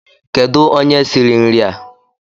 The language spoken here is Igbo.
Kedu onye siri nria?